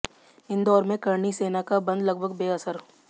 इंदौर में करणी सेना का बंद लगभग बेअसर